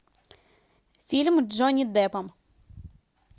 фильм с джонни деппом